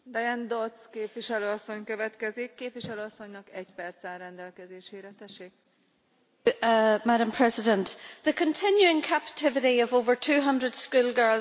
Madam President, the continuing captivity of over 200 schoolgirls from the town of Chibok symbolises the senseless human suffering caused by terrorism in Nigeria.